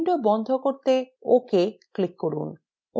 window বন্ধ করতে ok এ click করুন